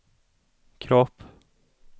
kropp